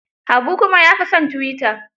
Habu kuma ya fi son tuwita.